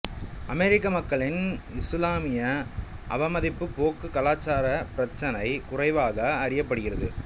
அமெரிக்க மக்களின் இசுலாமிய அவமதிப்பு போக்கு கலாச்சார பிரச்சினை குறையாக அறியப்படுகிறது